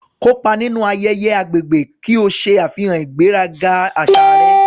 Kópa nínú ayẹyẹ agbègbè ki o ṣe àfihàn ìgbéraga àṣà rẹ.